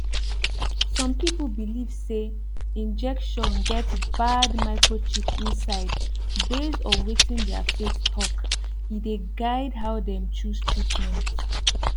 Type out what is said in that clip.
some people believe say injection get bad microchip inside based on wetin their faith talk e dey guide how dem choose treatment